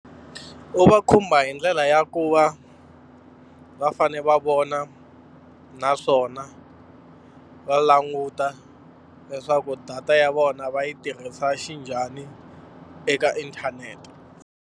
Ku va khumba hi ndlela ya ku va va fanele va vona naswona va languta leswaku data ya vona va yi tirhisa xinjhani eka inthanete.